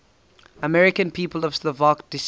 american people of slovak descent